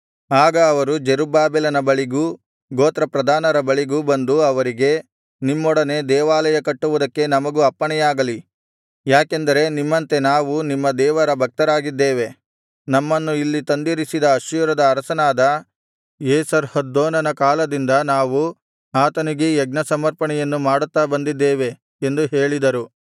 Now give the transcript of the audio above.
ಆಗ ಅವರು ಜೆರುಬ್ಬಾಬೆಲನ ಬಳಿಗೂ ಗೋತ್ರಪ್ರಧಾನರ ಬಳಿಗೂ ಬಂದು ಅವರಿಗೆ ನಿಮ್ಮೊಡನೆ ದೇವಾಲಯ ಕಟ್ಟುವುದಕ್ಕೆ ನಮಗೂ ಅಪ್ಪಣೆಯಾಗಲಿ ಯಾಕೆಂದರೆ ನಿಮ್ಮಂತೆ ನಾವು ನಿಮ್ಮ ದೇವರ ಭಕ್ತರಾಗಿದ್ದೇವೆ ನಮ್ಮನ್ನು ಇಲ್ಲಿ ತಂದಿರಿಸಿದ ಅಶ್ಶೂರದ ಅರಸನಾದ ಏಸರ್ಹದ್ದೋನನ ಕಾಲದಿಂದ ನಾವು ಆತನಿಗೇ ಯಜ್ಞಸಮರ್ಪಣೆಯನ್ನು ಮಾಡುತ್ತಾ ಬಂದಿದ್ದೇವೆ ಎಂದು ಹೇಳಿದರು